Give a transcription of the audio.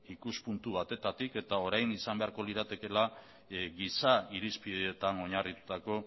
ikuspuntu batetatik eta orain izan beharko liratekeela giza irizpideetan oinarritutako